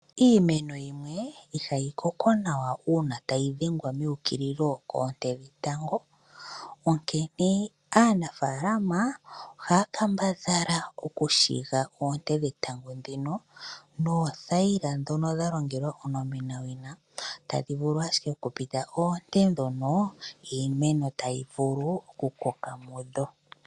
Iimeno yimwe ihayi koko nawa uuna tayi dhengwa meukililo koonte dhetango, onkene aanafaalama ohaya kambadhala oku shiga oonte dhetango ndhino noothaila ndhono dha longelwa onomenawina, tadhi vulu ashike oku pita oonte ndhono iimeno tayi vulu oku koka mudho.